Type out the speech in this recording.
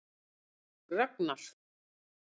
Ragnar